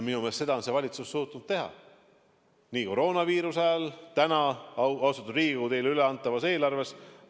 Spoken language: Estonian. Minu meelest seda on see valitsus suutnud teha nii koroonaviiruse ajal kui ka täna, austatud Riigikogu, teile üleantavas eelarves.